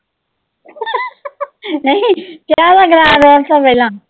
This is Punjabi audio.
ਨਹੀਂ, ਚਾਹ ਦਾ ਗਲਾਸ ਰੱਖੋ ਪਹਿਲਾਂ।